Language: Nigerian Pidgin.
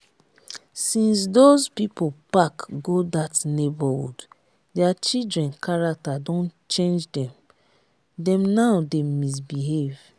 since doz people park go dat neigbourhood dia children character don change dem dem now dey misbehave